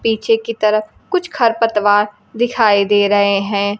पीछे की तरफ कुछ खरपतवार दिखाई दे रहे हैं।